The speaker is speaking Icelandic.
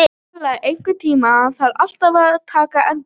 Bella, einhvern tímann þarf allt að taka enda.